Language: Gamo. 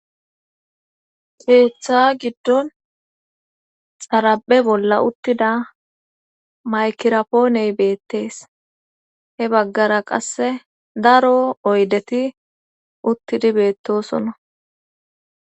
Geeththa giddon xara7e bolla uttida maykirapooney beettees he baggara qasse daro oydeti uttidi beettosona